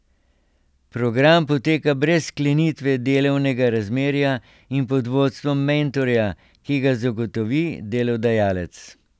Program poteka brez sklenitve delovnega razmerja in pod vodstvom mentorja, ki ga zagotovi delodajalec.